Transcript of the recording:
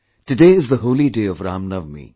Today is the holy day of Ram Navami